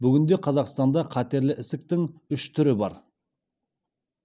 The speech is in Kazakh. бүгінде қазақстанда қатерлі ісіктің үш түрі бар